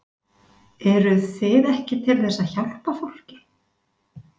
Eruð þið ekki til þess að hjálpa fólki?